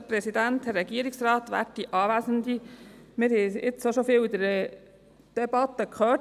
Wir haben es schon mehrmals in der Debatte gehört: